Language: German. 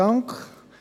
der SiK.